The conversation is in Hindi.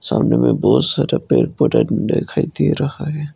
सामने में बहोत सारे पेड़ दिखाई दे रहा है।